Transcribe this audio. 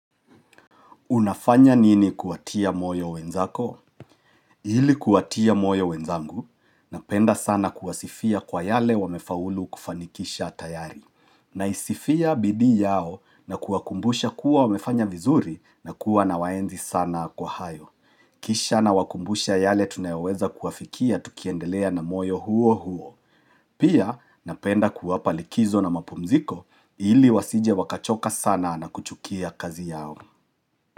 Unafanya nini kuatia moyo wenzako? Ili kuwatia moyo wenzangu, napenda sana kuwasifia kwa yale wamefaulu kufanikisha tayari. Na isifia bidi yao na kuwakumbusha kuwa wamefanya vizuri na kuwa na waenzi sana kwa hayo. Kisha na wakumbusha yale tunayoweza kuafikia tukiendelea na moyo huo huo. Pia napenda kuwa palikizo na mapumziko ili wasije wakachoka sana na kuchukia kazi yao.